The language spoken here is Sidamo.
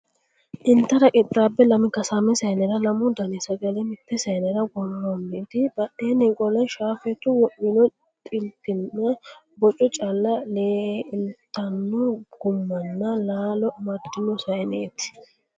Intara qixxaabe lami kasaame saaynera lamu dani sagale mitte saaynera worronniti, badheenni qole shaafeetu wo'mino xitinna boco calla lerltanno gummanna laalo amaddino saayneeeti.